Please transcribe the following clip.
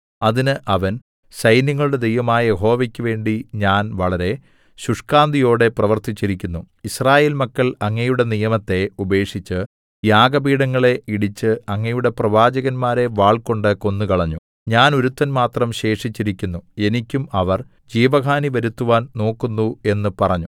അതിന് അവൻ സൈന്യങ്ങളുടെ ദൈവമായ യഹോവയ്ക്ക് വേണ്ടി ഞാൻ വളരെ ശുഷ്കാന്തിയോടെ പ്രവൃത്തിച്ചിരിക്കുന്നു യിസ്രായേൽ മക്കൾ അങ്ങയുടെ നിയമത്തെ ഉപേക്ഷിച്ച് യാഗപീഠങ്ങളെ ഇടിച്ച് അങ്ങയുടെ പ്രവാചകന്മാരെ വാൾകൊണ്ട് കൊന്നുകളഞ്ഞു ഞാൻ ഒരുത്തൻ മാത്രം ശേഷിച്ചിരിക്കുന്നു എനിക്കും അവർ ജീവഹാനി വരുത്തുവാൻ നോക്കുന്നു എന്ന് പറഞ്ഞു